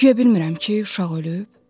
Guya bilmirəm ki, uşaq ölüb?